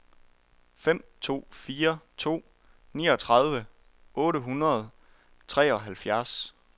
fem to fire to niogtredive otte hundrede og treoghalvfjerds